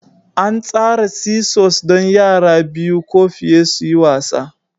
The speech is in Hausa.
An tsara seesaws don yara biyu ko fiye su yi wasa